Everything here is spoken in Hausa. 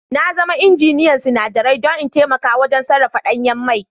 Na zama injiniyan sinadarai don in taimaka wajen sarrafa danyen mai